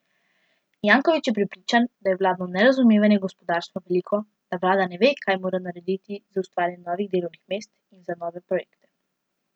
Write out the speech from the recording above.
Janković je prepričan, da je vladno nerazumevanje gospodarstva veliko, da vlada ne ve, kaj mora narediti za ustvarjanje novih delovnih mest in za nove projekte.